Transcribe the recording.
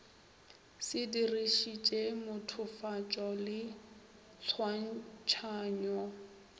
se dirišitše mothofatšo le tshwantšhanyo